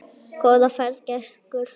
Góða ferð, gæskur.